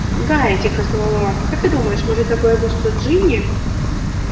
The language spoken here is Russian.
гарри тихо сказал рон как ты думаешь может такое быть что джинни